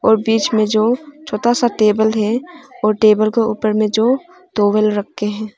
और बीच में जो छोटा सा टेबल है और टेबल का ऊपर में जो टॉवल रखे है।